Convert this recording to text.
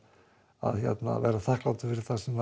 að vera þakklátur fyrir það sem maður